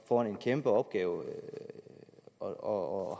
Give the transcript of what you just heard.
foran en kæmpeopgave og